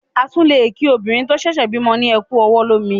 À tún lé kí obìnrin tó sèsè bímo ni "Ẹ ku ọwọ̀ lómi"